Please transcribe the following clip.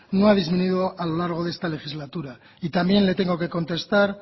no ha disminuido a lo largo de esta legislatura y también le tengo que contestar